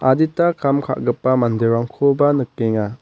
adita kam ka·gipa manderangkoba nikenga.